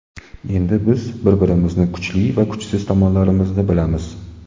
Endi biz bir-birimizni, kuchli va kuchsiz tomonlarimizni bilamiz.